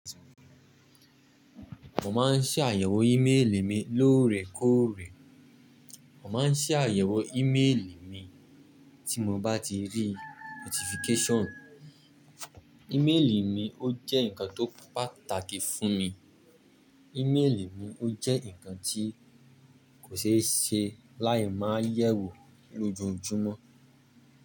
Mo máa ń ṣàyẹ̀wò ímeèlì mi lóòrèkóòrè. Mo máa ń ṣàyẹ̀wò ímélì mi tí mo bá ti rí notification. Ímeèlì mi ó jẹ́ nǹkan tó pàtàkì fún mi. Íméelì mi ó jẹ́ nǹkan tí kò ṣe é ṣe láì máa yẹ̀wò lójoojúmọ́